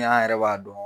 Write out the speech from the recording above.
an yɛrɛ b'a dɔn